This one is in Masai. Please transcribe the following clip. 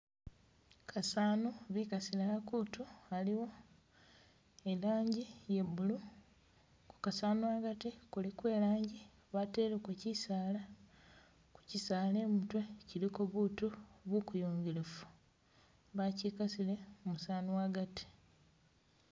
Kasano bikasilemu kutu aliwo ilanji iye blue, ku kasano agati iliwo elanji bateleko chisaala, ku chisaala imutwe kyiliko butu bukuyungilifu bachikasile musano agati